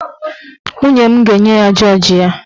Nwunye m ga-enye ya jọọji ya.